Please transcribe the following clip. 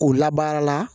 K'u labaara